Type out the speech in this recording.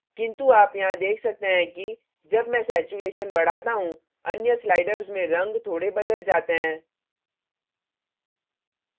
किन्तु आप यहाँ देख सकते हैं कि जब मैं saturation saturation बढ़ाता हूँ अन्य sliders में रंग थोड़े बदल जाते हैं